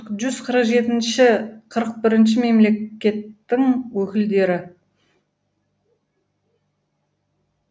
жүз қырық жетінші қырық бірінші мемлекеттің өкілдері